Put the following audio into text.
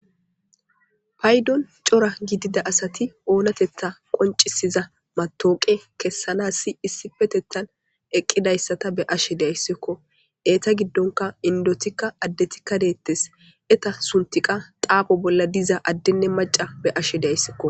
Paydon cora gidida asati oonatetta qoncisiza matooqe kessanas si issifetettan eqqidayssata be ashe deayssikko eeta giddonka indotikka addetikka deettes eta suntiqa xaapo bolla diza addenne maca be ashe dayssikko